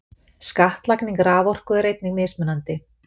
Skattlagning raforku er einnig mismunandi.